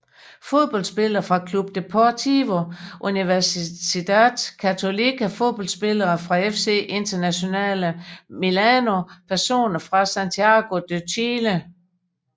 Fodboldspillere fra Club Deportivo Universidad Católica Fodboldspillere fra FC Internazionale Milano Personer fra Santiago de Chile